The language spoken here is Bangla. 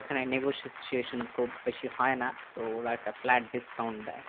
ওখানে negotiation খুব বেশি হয় না তো ওরা একটা flat discount দেয়